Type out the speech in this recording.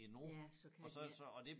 Ja så kan man ikke